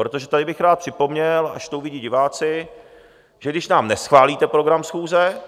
Protože tady bych rád připomněl, až to uvidí diváci, že když nám neschválíte program schůze,